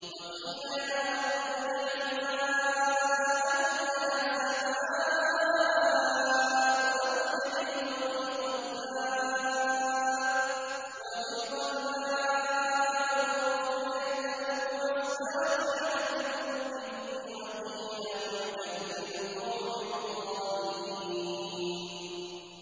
وَقِيلَ يَا أَرْضُ ابْلَعِي مَاءَكِ وَيَا سَمَاءُ أَقْلِعِي وَغِيضَ الْمَاءُ وَقُضِيَ الْأَمْرُ وَاسْتَوَتْ عَلَى الْجُودِيِّ ۖ وَقِيلَ بُعْدًا لِّلْقَوْمِ الظَّالِمِينَ